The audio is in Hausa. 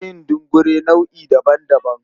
Na iya yin dungure nau'i daban-daban.